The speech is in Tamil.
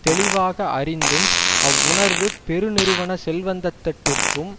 தெளிவாக அறிந்தும் அவ்வுணர்வு பெருநிறுவன செல்வந்தத்தட்டிற்கும்